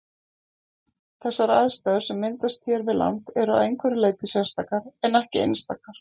Þessar aðstæður sem myndast hér við land eru að einhverju leyti sérstakar en ekki einstakar.